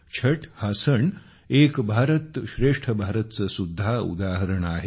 छठ हा सण हाएक भारत श्रेष्ठ भारत चे सुद्धा उदाहरण आहे